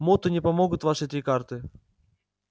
моту не помогут ваши три карты